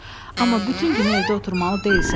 Amma bütün günü evdə oturmalı deyilsən.